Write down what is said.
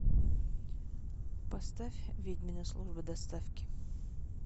поставь ведьмина служба доставки